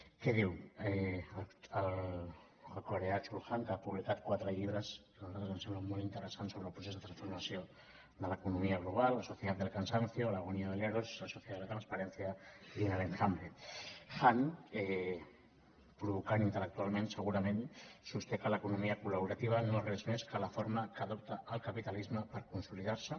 què diu el coreà chul han que ha publicat quatre lli·bres que a nosaltres ens semblen molt interessants sobre el procés de transformació de l’economia glo·bal la sociedad del cansanciola sociedad de la transparencia i provocant intel·lectualment segurament sosté l’eco·nomia col·laborativa no és res més que la forma que adopta el capitalisme per consolidar·se